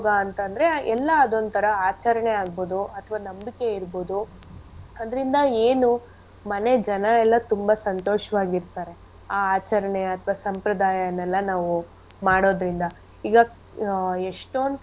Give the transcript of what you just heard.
ಅಂತಂದ್ರೆ ಎಲ್ಲಾ ಅದೊಂತರ ಆಚರಣೆ ಆಗ್ಬೋದು ಅಥ್ವ ನಂಬಿಕೆ ಇರ್ಬೋದು ಅದ್ರಿಂದ ಏನು ಮನೆ ಜನ ಎಲ್ಲಾ ತುಂಬಾ ಸಂತೋಷ್ವಾಗಿರ್ತಾರೆ ಆ ಆಚರಣೆ ಅಥ್ವ ಸಂಪ್ರದಾಯನ್ ಎಲ್ಲಾ ನಾವು ಮಾಡೋದ್ರಿಂದ ಈಗ ಆ ಎಷ್ಟೊಂದ್.